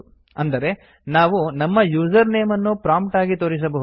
ಅಂದರೆ ನಾವು ನಮ್ಮ ಯೂಸರ್ ನೇಮ್ ಅನ್ನು ಪ್ರೊಮ್ಪ್ಟ್ ಆಗಿ ತೋರಿಸಬಹುದು